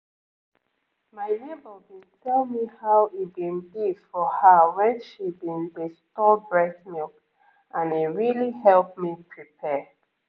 my neighbor been tell me how e been be for her when she been dey store breast milk and e really help me prepare